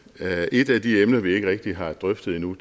et af de emner vi ikke rigtig har drøftet endnu